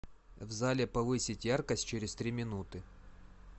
в зале повысить яркость через три минуты